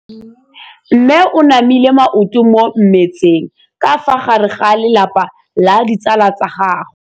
Mme o namile maoto mo mmetseng ka fa gare ga lelapa le ditsala tsa gagwe.